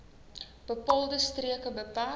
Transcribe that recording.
bepaalde streke beperk